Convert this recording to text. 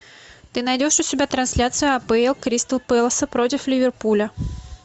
ты найдешь у себя трансляцию апл кристал пэласа против ливерпуля